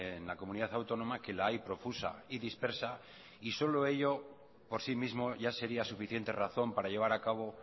en la comunidad autónoma que la hay profusa y dispersa y solo ello por sí mismo ya sería suficiente razón para llevar a cabo